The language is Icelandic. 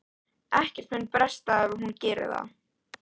Ekkert mun bresta ef hún gerir það.